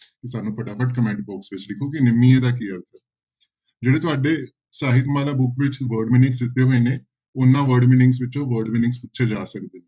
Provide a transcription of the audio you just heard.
ਸਾਨੂੰ ਫਟਾਫਟ comment box ਵਿੱਚ ਲਿਖੋ ਕਿ ਨਿਮੀਏ ਦਾ ਕੀ ਅਰਥ ਹੈ ਜਿਹੜੇ ਤੁਹਾਡੇ ਸਾਹਿਤਮਾਲਾ book ਵਿੱਚ word meanings ਦਿੱਤੇ ਹੋਏ ਨੇ ਉਹਨਾਂ word meanings ਵਿੱਚੋਂ word meanings ਪੁਛੇ ਜਾ ਸਕਦੇ,